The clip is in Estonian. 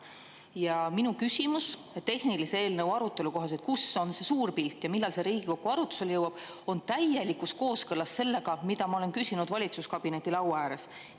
Ja minu küsimus tehnilise eelnõu arutelu kohaselt, kus on see suur pilt ja millal see Riigikokku arutlusele jõuab, on täielikus kooskõlas sellega, mida ma olen küsinud valitsuskabineti laua ääres.